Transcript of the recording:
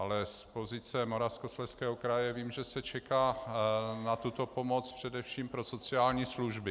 Ale z pozice Moravskoslezského kraje vím, že se čeká na tuto pomoc především pro sociální služby.